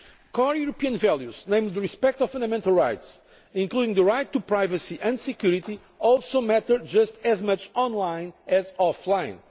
Core European values, namely the respect of fundamental rights, including the right to privacy and security, also matter just as much on line as off line.